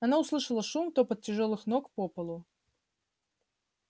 она услышала шум топот тяжёлых ног по полу